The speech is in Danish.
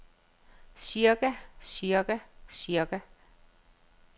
cirka cirka cirka